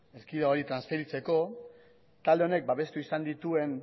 erkidegoei transferitzeko talde honek babestu izan dituen